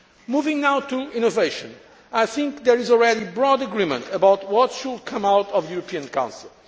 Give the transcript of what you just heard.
Moving now to innovation, I think there is already broad agreement about what should come out of the European Council.